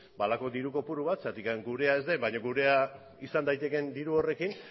halako diru kopuru bat zergatik gure ez den baina gurea izan daitekeen diru horrekin